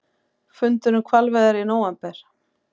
Fundur um hvalveiðar í nóvember